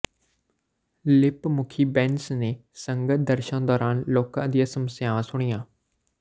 lip ਮੁਖੀ ਬੈਂਸ ਨੇ ਸੰਗਤ ਦਰਸ਼ਨ ਦੌਰਾਨ ਲੋਕਾਂ ਦੀਆਂ ਸਮੱਸਿਆਵਾਂ ਸੁਣੀਆਂ